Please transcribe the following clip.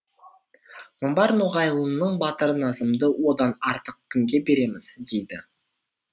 қамбар ноғайлының батыры назымды одан артық кімге береміз дейді